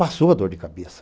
Passou a dor de cabeça.